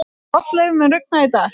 Oddleif, mun rigna í dag?